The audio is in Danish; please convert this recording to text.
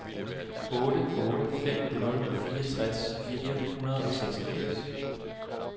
otte otte fem nul fireogtres fire hundrede og seksogfirs